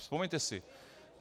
Vzpomeňte si.